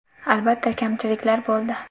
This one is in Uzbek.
Albatta, kamchiliklar bo‘ldi.